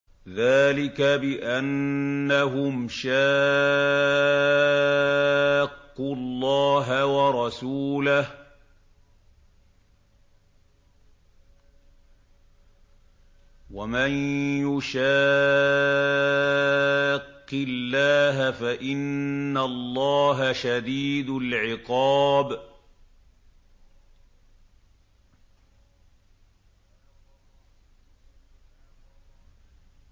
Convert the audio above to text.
ذَٰلِكَ بِأَنَّهُمْ شَاقُّوا اللَّهَ وَرَسُولَهُ ۖ وَمَن يُشَاقِّ اللَّهَ فَإِنَّ اللَّهَ شَدِيدُ الْعِقَابِ